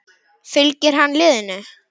Fylgir hann liðinu?